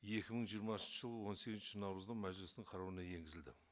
екі мың жиырмасыншы жылы он сегізінші наурызда мәжілістің қарауына енгізілді